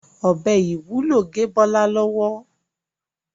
ọbẹ IwUlO gé Bola lọwọ.